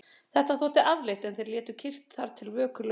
Þetta þótti afleitt en þeir létu kyrrt þar til vöku lauk.